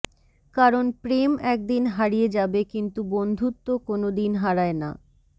কারণ প্রেম একদিন হারিয়ে যাবে কিন্তু বন্ধুত্ব কোনদিন হারায় না